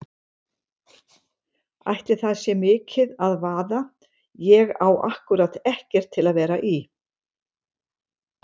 Ætli það sé mikið að vaða, ég á ákkúrat ekkert til að vera í.